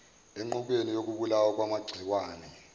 enqubweni yokubulawa kwamagciwane